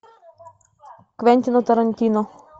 квентина тарантино